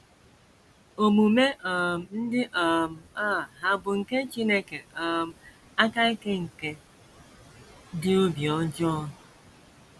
Omume um ndị um a hà bụ nke Chineke um aka ike nke dị obi ọjọọ?